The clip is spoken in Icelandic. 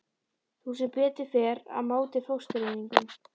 Þú ert sem betur fer á móti fóstureyðingum.